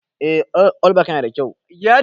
Eh, allback yana da kyau.